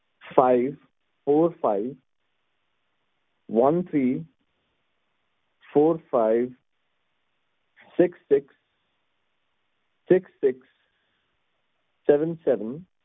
fivefourfiveonethreefourfivesixsixsevenseven